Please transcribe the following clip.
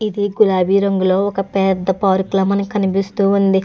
ఇది గులాబీ రంగులో ఒక పెద్ద పార్క్ లా మనకి కనిపిస్తూ ఉంది.